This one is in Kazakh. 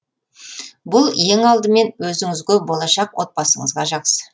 бұл ең алдымен өзіңізге болашақ отбасыңызға жақсы